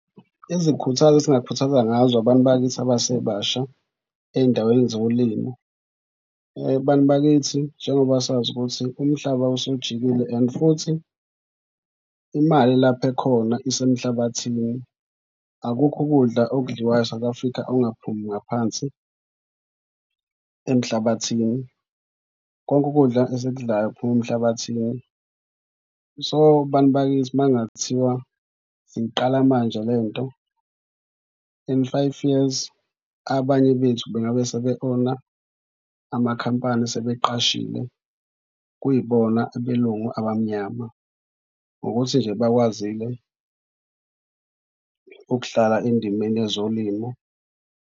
Izikhuthazo esingakhuthaza ngazo abantu bakithi abasebasha ey'ndaweni zolimo. Bantu bakithi njengoba sazi ukuthi umhlaba usujikile and futhi imali lapha ekhona isemhlabathini, akukho ukudla okudliwayo eSouth Afrika okungaphumi ngaphansi emhlabathini, konke ukudla esikudlayo kuphuma emhlabathini. So, bantu bakithi makungathiwa siyiqala manje le nto in five years abanye bethu bengabe sebe-own-a amakhampani sebeqashile. Kuyibona abelungu abamnyama ngokuthi nje bakwazile ukudlala endimeni yezolimo.